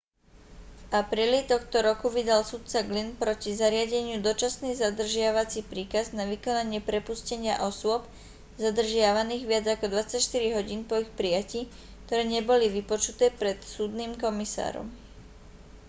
v apríli tohto roku vydal sudca glynn proti zariadeniu dočasný zadržiavací príkaz na vykonanie prepustenia osôb zadržiavaných viac ako 24 hodín po ich prijatí ktoré neboli vypočuté pred súdnym komisárom